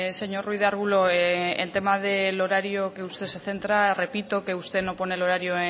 señor ruiz de arbulo el tema del horario que usted se centra repito que usted no pone el horario